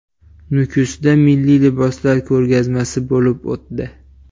Nukusda milliy liboslar ko‘rgazmasi bo‘lib o‘tdi .